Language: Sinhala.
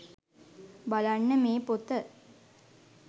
බලන්න මේ පොත